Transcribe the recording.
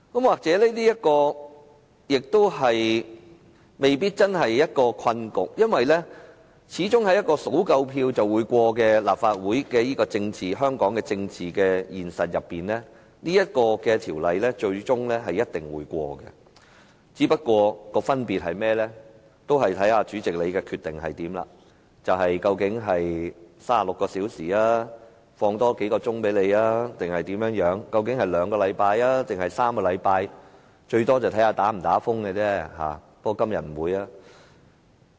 或者這未必真的是一個困局，因為在香港立法會，議案只要獲得足夠票數便可以通過，在這樣的政治現實中，《條例草案》最終一定會獲得通過，分別只在於主席決定讓議員有36小時的辯論時間，還是再多給我們幾個小時；於兩個星期內通過，還是3個星期內通過。